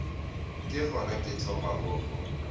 ke gona ke thomago go